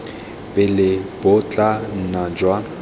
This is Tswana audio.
pele bo tla nna jwa